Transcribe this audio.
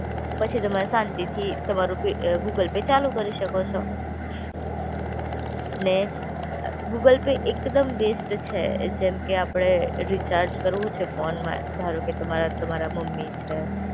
પછી તમારે શાંતિથી તમારું પે અ ગૂગલ પે ચાલુ કરી શકો છો. ને અ ગૂગલ પે એક દમ બેસ્ટ છે જેમ કે આપે રિચાર્જ કરવું છે ફોનમાં, ધારોકે તમારા તમારા મમ્મી છે